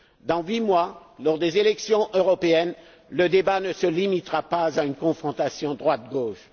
Dans huit mois, lors des élections européennes, le débat ne se limitera pas à une confrontation droite gauche.